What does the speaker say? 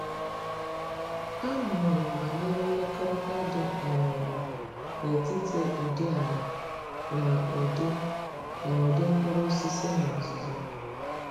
A mụrụ m banyere mmekọrịta dị um n’etiti ụdị ala na ụdị na ụdị mkpụrụosisi n’ọzụzụ.